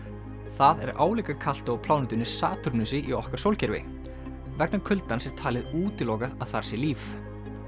það er álíka kalt og á plánetunni Satúrnusi í okkar sólkerfi vegna kuldans er talið útilokað að þar sé líf